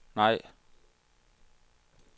nej